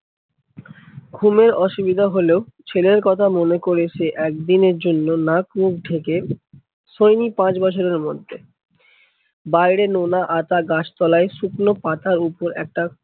ঘুমের অসুবিধা হলেও ছেলের কথা মনে করে সে একদিনের জন্য নাক মুখ ঢেকে শোয়নি পাঁচ বছরে মধ্যে। বাইরে নোনা আতা গাছ তলায় শুকনো পাতার উপর একটা